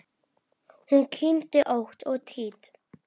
Hún kyngdi ótt og títt.